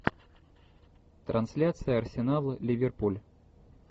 трансляция арсенал ливерпуль